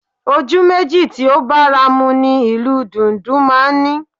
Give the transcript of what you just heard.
Ojú méjì tí ó bára mu ni ìlù dùndún máa ń ní